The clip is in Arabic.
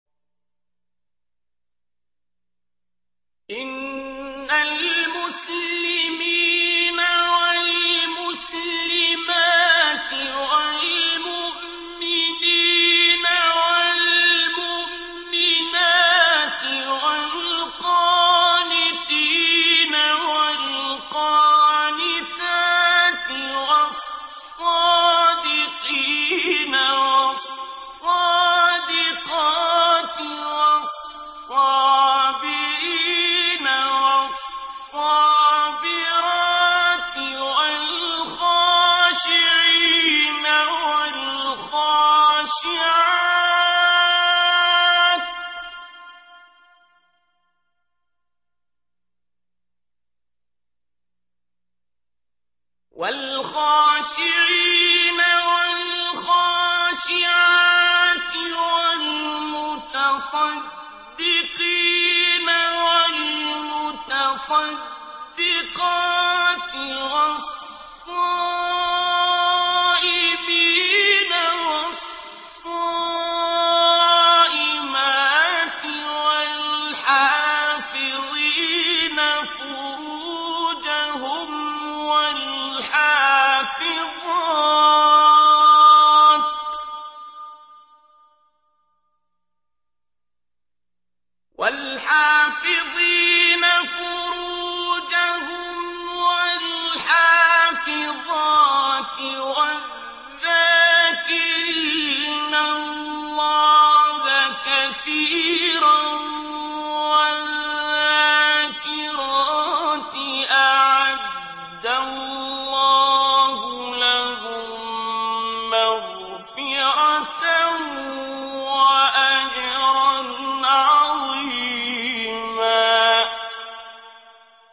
إِنَّ الْمُسْلِمِينَ وَالْمُسْلِمَاتِ وَالْمُؤْمِنِينَ وَالْمُؤْمِنَاتِ وَالْقَانِتِينَ وَالْقَانِتَاتِ وَالصَّادِقِينَ وَالصَّادِقَاتِ وَالصَّابِرِينَ وَالصَّابِرَاتِ وَالْخَاشِعِينَ وَالْخَاشِعَاتِ وَالْمُتَصَدِّقِينَ وَالْمُتَصَدِّقَاتِ وَالصَّائِمِينَ وَالصَّائِمَاتِ وَالْحَافِظِينَ فُرُوجَهُمْ وَالْحَافِظَاتِ وَالذَّاكِرِينَ اللَّهَ كَثِيرًا وَالذَّاكِرَاتِ أَعَدَّ اللَّهُ لَهُم مَّغْفِرَةً وَأَجْرًا عَظِيمًا